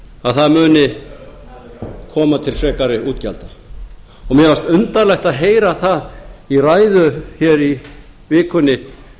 að það muni koma til frekari útgjalda mér fannst undarlegt að heyra það í ræðu hér í vikunni